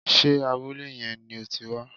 Sé abúlé yẹn ni o ti wá